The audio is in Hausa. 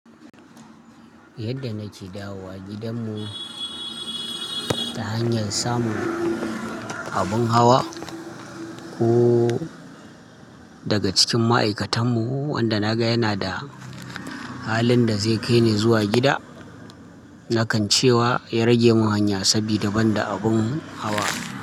Yadda nake dawowa gidanmu ta hanyar samun abin hawa ko daga cikin ma'aikatanmu wanda na ga yana da halin da zai kai ni zuwa gida, na kan cewa ya rage mun hanya sabida ban da abun hawa.